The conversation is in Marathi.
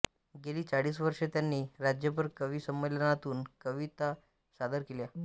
गेली चाळीस वर्षे त्यांनी राज्यभर कविसंमेलनातून कविता सादर केल्या